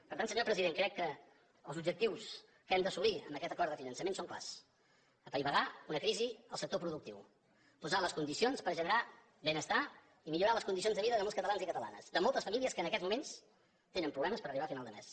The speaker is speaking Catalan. per tant senyor president crec que els objectius que hem d’assolir amb aquest acord de finançament són clars apaivagar una crisi al sector productiu posar les condicions per generar benestar i millorar les condicions de vida de molts catalans i catalanes de moltes famílies que en aquests moments tenen problemes per arribar a final de mes